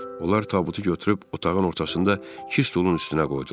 Onlar tabutu götürüb otağın ortasında iki stolun üstünə qoydular.